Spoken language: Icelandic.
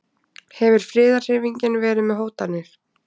Hefur friðarhreyfingin verið með hótanir?